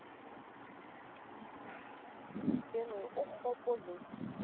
ke re o kgopo le